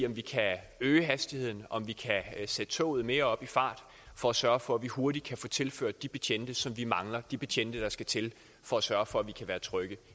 om vi kan øge hastigheden om vi kan sætte toget mere op i fart for at sørge for at vi hurtigt kan få tilført de betjente som vi mangler de betjente der skal til for at sørge for at vi kan være trygge i